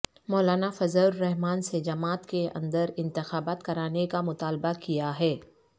مولانا فضل الرحمان سےجماعت کے اندر انتخابات کرانےکا مطالبہ کیا ہے